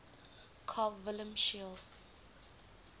carl wilhelm scheele